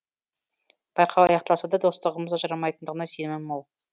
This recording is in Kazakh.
байқау аяқталса да достығымыз ажырамайтындығына сенімім мол